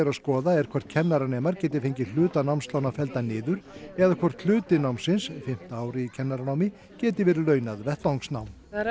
að skoða er hvort kennaranemar geti fengið hluta námslána felldan niður eða hvort hluti námsins fimmta árið í kennaranámi geti verið launað vettvangsnám það er